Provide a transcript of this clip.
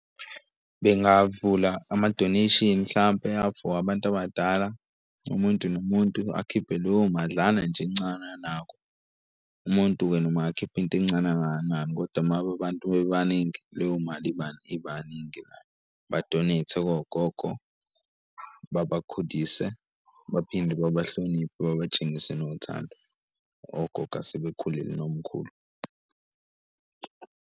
Bengavula ama donation hlampe for abantu abadala, umuntu nomuntu akhiphe leyo madlana nje encane anakho. Umuntu-ke noma angakhipha into encane kangakanani kodwa uma ngabe abantu bebaningi leyo mali, ibaningi nayo ba-donate kogogo babakhudise, baphinde babahloniphe, babatshengise nothando ogogo asebekhulile nomkhulu.